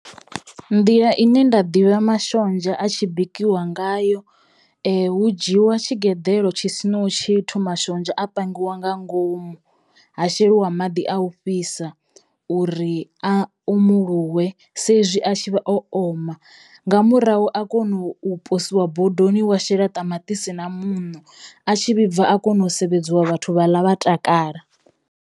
Nḓila ine nda ḓivha mashonzha a tshi bikiwa ngayo hu dzhiwa tshigeḓelo tshi sinaho tshithu mashonzha a pangiwa nga ngomu, ha sheliwa maḓi a u fhisa uri a umuluwe saizwi a tshi vha o oma, nga murahu a kono u poswa bodoni, wa shela ṱamaṱisi na muṋo, a tshi vhibva a kona u sevhedza vhathu vha ḽa vha takala.